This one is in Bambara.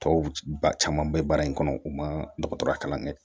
Tɔw ba caman be baara in kɔnɔ u ma dɔgɔtɔrɔya kalan kɛ